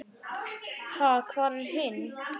Ha, hvar er hinn?